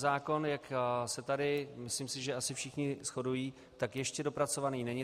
Zákon, jak se tady, myslím si, že asi všichni shodují, tak ještě dopracovaný není.